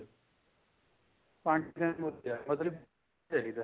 ਪੰਜ percent ਵਧੀਆ ਮਤਲਬ ਕੀ ਚਾਹੀਦਾ